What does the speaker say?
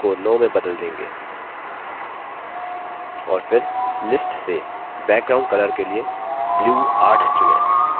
और फिर list से background colour के लिए blue 8 चुनें